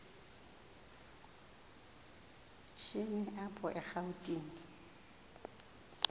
shini apho erawutini